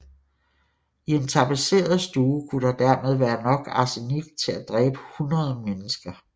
I en tapetseret stue kunne der dermed være nok arsenik til at dræbe hundrede mennesker